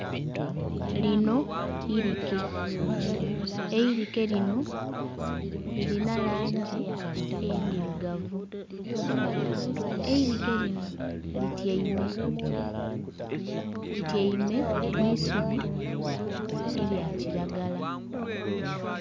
Lino irike, eirike lino lirina langi endhirugavu eirike lino lityaime, lityaime mu isubi erya kiragala.